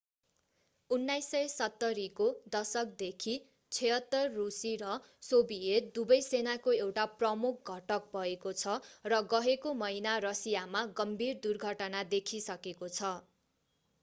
1970 को दशकदेखि il-76 रूसी र सोभियत दुवै सेनाको एउटा प्रमुख घटक भएको छ र गएको महिना रसियामा गम्भीर दुर्घटना देखिसकेको छ